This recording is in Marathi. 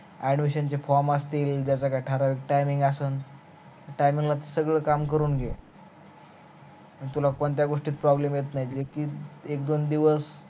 addimision चे form असतील त्याच काही ठराविक timing असल त्या timing ला सगळ काम करून घे मग तुला कोणत्या गोष्टीत problem येत नाहीत मग ती एक दोन दिवस